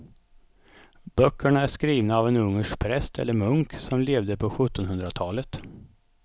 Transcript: Böckerna är skrivna av en ungersk präst eller munk som levde på sjuttonhundratalet.